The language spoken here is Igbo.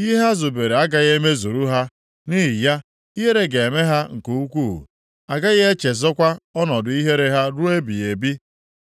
Ihe ha zubere agaghị emezuru ha, nʼihi ya, ihere ga-eme ha nke ukwuu; a gaghị echezọkwa ọnọdụ ihere ha ruo ebighị ebi.